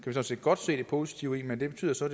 sådan set godt se det positive i men det betyder så